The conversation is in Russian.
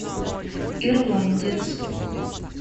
ирландец